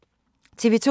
TV 2